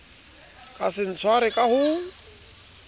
ka se tshwarwe ka ho